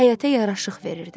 Həyətə yaraşıq verirdi.